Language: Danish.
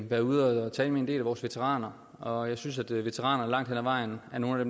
været ude at tale med en del af vores veteraner og jeg synes at veteraner langt hen ad vejen er nogle af